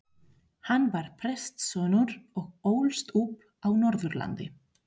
Hann var prestssonur og ólst upp á Norðurlandi.